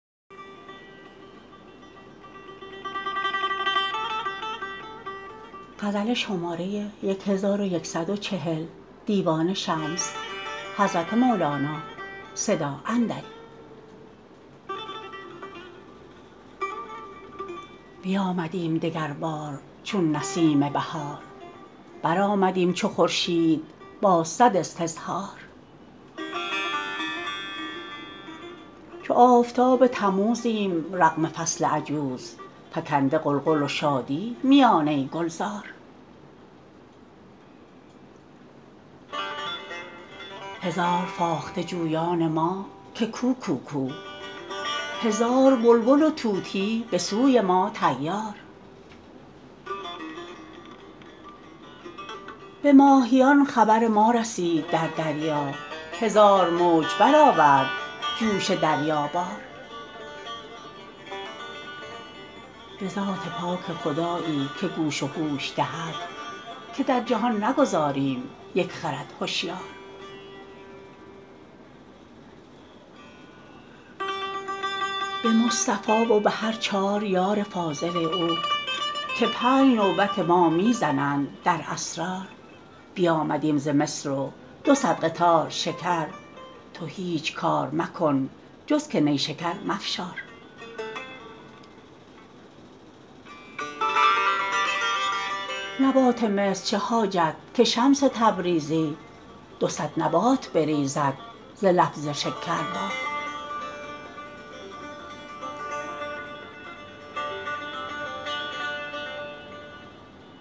بیامدیم دگربار چون نسیم بهار برآمدیم چو خورشید با صد استظهار چو آفتاب تموزیم رغم فصل عجوز فکنده غلغل و شادی میانه گلزار هزار فاخته جویان ما که کو کوکو هزار بلبل و طوطی به سوی ما طیار به ماهیان خبر ما رسید در دریا هزار موج برآورد جوش دریابار به ذات پاک خدایی که گوش و هوش دهد که در جهان نگذاریم یک خرد هشیار به مصطفی و به هر چار یار فاضل او که پنج نوبت ما می زنند در اسرار بیامدیم ز مصر و دو صد قطار شکر تو هیچ کار مکن جز که نیشکر مفشار نبات مصر چه حاجت که شمس تبریزی دو صد نبات بریزد ز لفظ شکربار